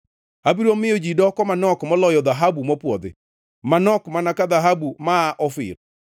Abiro miyo ji doko manok moloyo dhahabu mopwodhi, manok mana ka dhahabu ma aa Ofir.